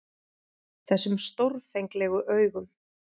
Þessum stórfenglegu augum.